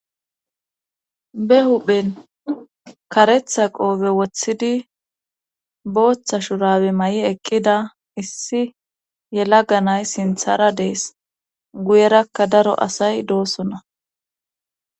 be huphen karetha qoobe woththidi booththa shurabe mayi eqqida issi yelaga nay sinthara dees guyerakka daro asay doosona